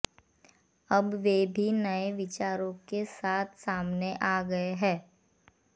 अब वे भी नए विचारों के साथ सामने आ गए हैं